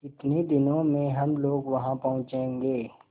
कितने दिनों में हम लोग वहाँ पहुँचेंगे